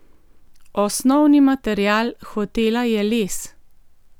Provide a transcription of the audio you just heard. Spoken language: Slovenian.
Osnovni material hotela je les.